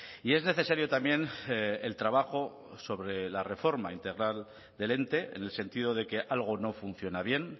y es necesario también el trabajo sobre la reforma integral del ente en el sentido de que algo no funciona bien